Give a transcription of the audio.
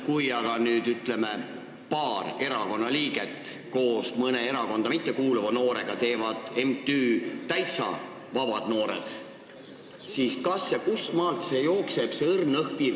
Kui aga paar erakonnaliiget teevad koos mõne erakonda mittekuuluva noorega MTÜ Täitsa Vabad Noored, siis kustmaalt see õhkõrn piir jookseb?